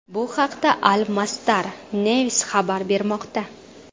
Bu haqda Al Masdar News xabar bermoqda .